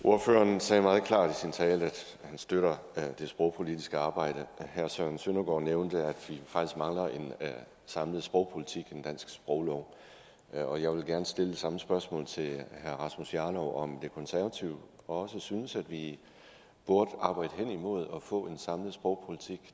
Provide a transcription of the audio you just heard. ordføreren sagde meget klart i sin tale at han støtter det sprogpolitiske arbejde herre søren søndergaard nævnte at vi faktisk mangler en samlet sprogpolitik en dansk sproglov og jeg vil gerne stille det samme spørgsmål til herre rasmus jarlov nemlig om de konservative også synes at vi burde arbejde hen imod at få en samlet sprogpolitik